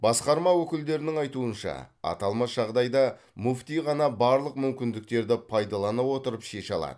басқарма өкілдерінің айтуынша аталмыш жағдайда мүфти ғана барлық мүмкіндіктерді пайдалана отырып шеше алады